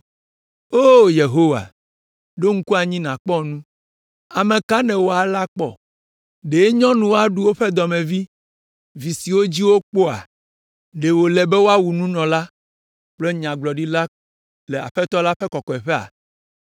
“O Yehowa, ɖo ŋku anyi nàkpɔ nu. Ame ka nèwɔ alea kpɔ? Ɖe nyɔnuwo aɖu woƒe dɔmevi, vi siwo dzi wokpɔa? Ɖe wòle be woawu nunɔla kple Nyagblɔɖila le Aƒetɔ la ƒe kɔkɔeƒea?